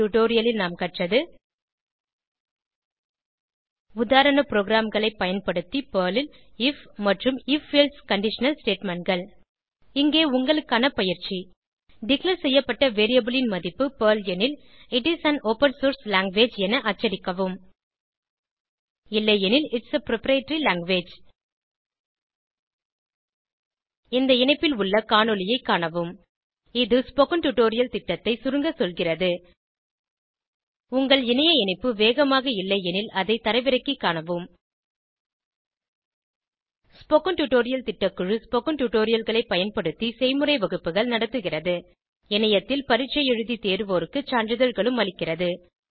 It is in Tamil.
இந்த டுடோரியலில் நாம் கற்றது உதாரண ப்ரோகிராம்களை பயன்படுத்தி பெர்ல் ல் ஐஎஃப் மற்றும் if எல்சே கண்டிஷனல் statementகள் இங்கே உங்களுக்கான பயிற்சி டிக்ளேர் செய்யப்பட்ட வேரியபிள் ன் மதிப்பு பெர்ல் எனில் it is an open source language என அச்சடிக்கவும் இல்லையெனில் ஐடிஎஸ் ஆ புரொப்ரைட்டரி லாங்குவேஜ் இந்த இணைப்பில் உள்ள காணொளியைக் காணவும் இது ஸ்போகன் டுடோரியல் திட்டம் பற்றி சுருங்க சொல்கிறது உங்கள் இணைய இணைப்பு வேகமாக இல்லையெனில் அதை தரவிறக்கிக் காணவும் ஸ்போகன் டுடோரியல் திட்டக்குழு ஸ்போகன் டுடோரியல்களைப் பயன்படுத்தி செய்முறை வகுப்புகள் நடத்துகிறது இணையத்தில் பரீட்சை எழுதி தேர்வோருக்கு சான்றிதழ்களும் அளிக்கிறது